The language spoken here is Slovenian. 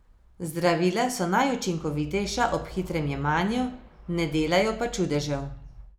Zdravila so najučinkovitejša ob hitrem jemanju, ne delajo pa čudežev.